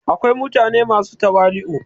akwai mutane masu tawali'u